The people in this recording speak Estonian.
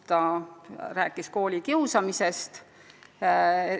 Ta rääkis ka koolikiusamisest.